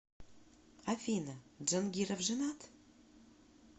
афина джангиров женат